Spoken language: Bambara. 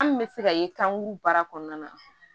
An bɛ se ka ye kan kuru baara kɔnɔna na